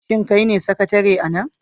Shin kai ne sakatare a nan?